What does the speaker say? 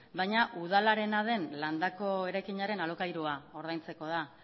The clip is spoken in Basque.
baina udalarena den landako eraikinaren alokairua ordaintzeko da